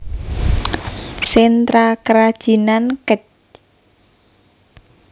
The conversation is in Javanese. Sentra Kerajinan Kec